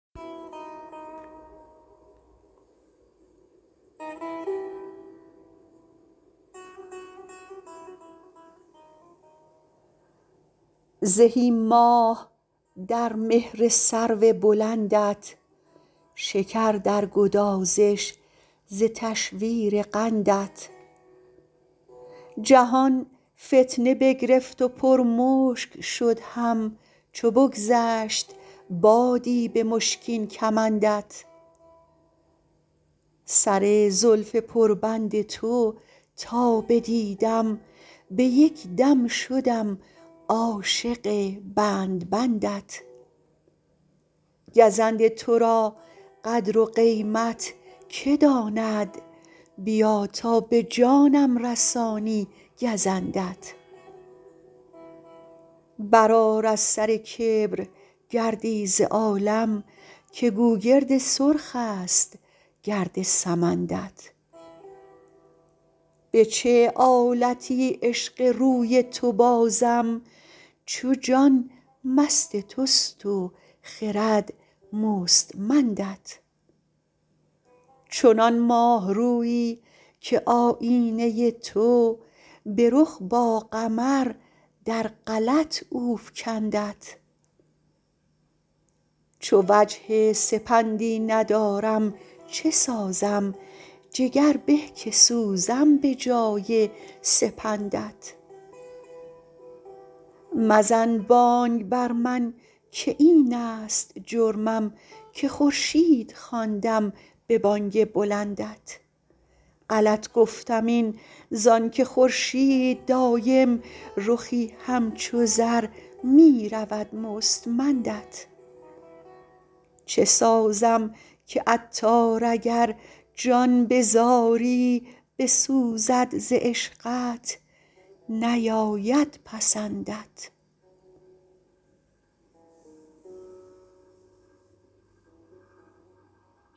زهی ماه در مهر سرو بلندت شکر در گدازش ز تشویر قندت جهان فتنه بگرفت و پر مشک شد هم چو بگذشت بادی به مشکین کمندت سر زلف پر بند تو تا بدیدم به یک دم شدم عاشق بند بندت گزند تو را قدر و قیمت که داند بیا تا به جانم رسانی گزندت برآر از سر کبر گردی ز عالم که گوگرد سرخ است گرد سمندت به چه آلتی عشق روی تو بازم چو جان مست توست و خرد مستمندت چنان ماه رویی که آیینه تو به رخ با قمر در غلط او فکندت چو وجه سپندی ندارم چه سازم جگر به که سوزم به جای سپندت مزن بانگ بر من که این است جرمم که خورشید خواندم به بانگ بلندت غلط گفتم این زانکه خورشید دایم رخی همچو زر می رود مستمندت چه سازم که عطار اگر جان به زاری بسوزد ز عشقت نیاید پسندت